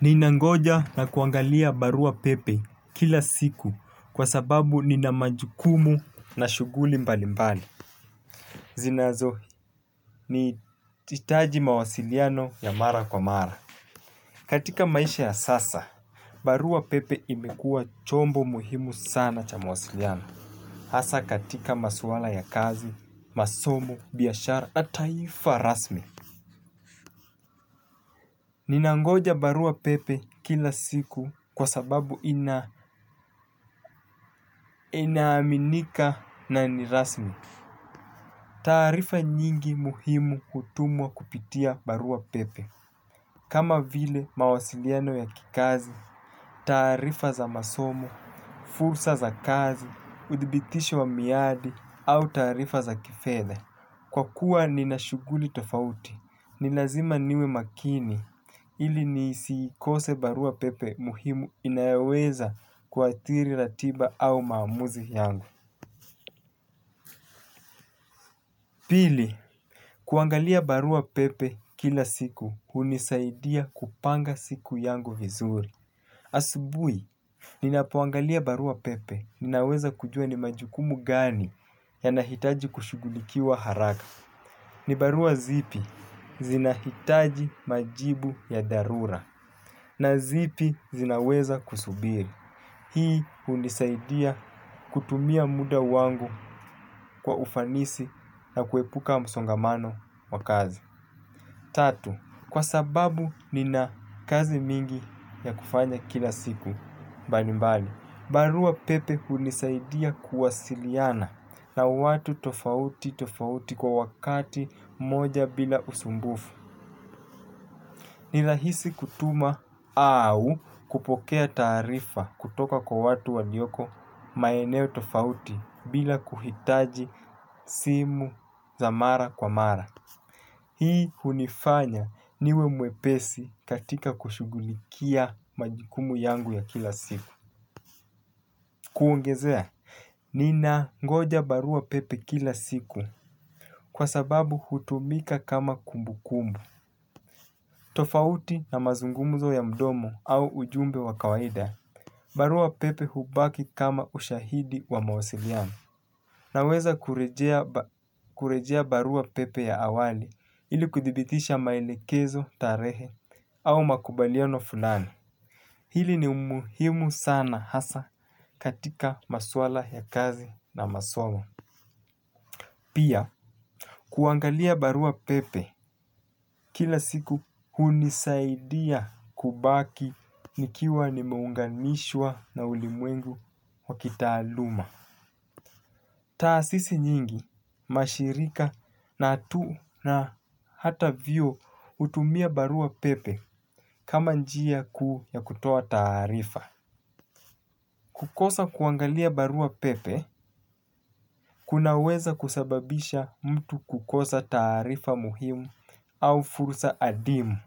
Ninangoja na kuangalia barua pepe kila siku kwa sababu nina majukumu na shuguli mbali mbali. Zinazo, nihitaji mawasiliano ya mara kwa mara. Katika maisha ya sasa, barua pepe imekua chombo muhimu sana cha mawasiliano. Hasa katika maswala ya kazi, masomo, biashara na taifa rasmi. Ninangoja barua pepe kila siku kwa sababu ina inaaminika na ni rasmi. Taarifa nyingi muhimu hutumwa kupitia barua pepe. Kama vile mawasiliano ya kikazi, taarifa za masomo, fursa za kazi, udhibitisho wa miadi au taarifa za kifedha. Kwa kuwa nina shuguli tofauti, ni lazima niwe makini ili nisiikose barua pepe muhimu inayoweza kuathiri ratiba au maamuzi yangu. Pili, kuangalia barua pepe kila siku hunisaidia kupanga siku yangu vizuri. Asubuhi, ninapoangalia barua pepe, ninaweza kujua ni majukumu gani yanahitaji kushugulikiwa haraka. Ni barua zipi zinahitaji majibu ya dharura na zipi zinaweza kusubiri. Hii hunisaidia kutumia muda wangu kwa ufanisi na kuepuka msongamano wa kazi. Tatu, kwa sababu nina kazi mingi ya kufanya kila siku, mbalimbali. Barua pepe hunisaidia kuwasiliana na watu tofauti tofauti kwa wakati mmoja bila usumbufu. Nirahisi kutuma au kupokea taarifa kutoka kwa watu walioko maeneo tofauti bila kuhitaji simu za mara kwa mara. Hii hunifanya niwe mwepesi katika kushugulikia majukumu yangu ya kila siku. Kuongezea. Ninangoja barua pepe kila siku kwa sababu hutumika kama kumbukumbu. Tofauti na mazungumzo ya mdomo au ujumbe wa kawaida. Barua pepe hubaki kama ushahidi wa mawasiliano. Naweza kurejea barua pepe ya awali ili kudhibitisha maelekezo, tarehe au makubaliano fulani. Hili ni muhimu sana hasa katika maswala ya kazi na masomo. Pia, kuangalia barua pepe kila siku hunisaidia kubaki nikiwa nimeunganishwa na ulimwengu wa kitaaluma. Taasisi nyingi, mashirika na hata vyuo hutumia barua pepe kama njia kuu ya kutoa taarifa. Kukosa kuangalia barua pepe kunaweza kusababisha mtu kukosa taarifa muhimu au fursa adimu.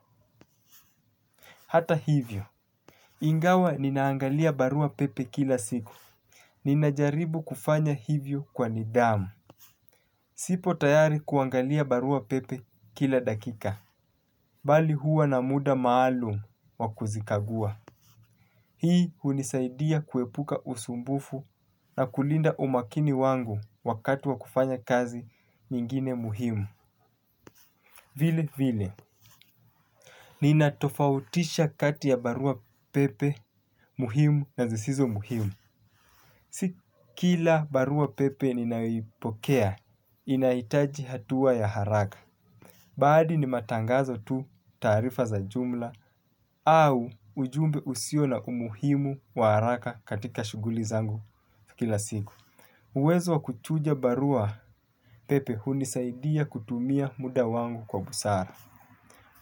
Hata hivyo. Ingawa ninaangalia barua pepe kila siku. Ninajaribu kufanya hivyo kwa nidhamu. Siko tayari kuangalia barua pepe kila dakika mbali huwa na muda maalum wa kuzikagua. Hii hunisaidia kuepuka usumbufu na kulinda umakini wangu wakati wa kufanya kazi nyingine muhimu. Vile vile, nina tofautisha kati ya barua pepe muhimu na zisizo muhimu. Si kila barua pepe ninayoipokea, inahitaji hatua ya haraka. Baadhi ni matangazo tu taarifa za jumla au ujumbe usio na umuhimu wa haraka katika shuguli zangu kila siku. Uwezo wa kuchuja barua pepe hunisaidia kutumia muda wangu kwa busara.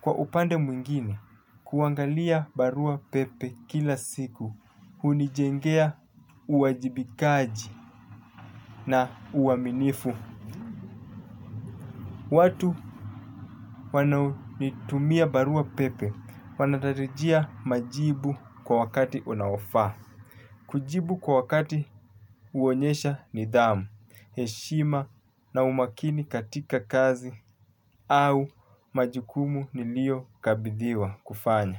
Kwa upande mwingine, kuangalia barua pepe kila siku hunijengea uwajibikaji na uaminifu. Watu wanaoitumia barua pepe wanatarajia majibu kwa wakati unaofaa. Kujibu kwa wakati huonyesha nidhamu, heshima na umakini katika kazi au majukumu niliyokabidhiwa kufanya.